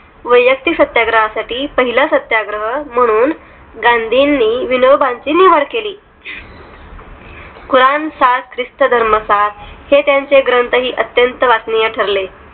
वैयक्तिक सत्याग्रहा साठी पहिले सत्याग्रही म्हणून गांधी नी विनोबांची निवड केली कुराण सात ख्रिस्त धर्म सात हे त्यांचे ग्रंथ ही अत्यंत वाचनीय ठरले